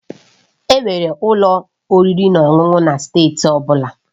Enwere ụlọ oriri na ọṅụṅụ na steeti ọ bụla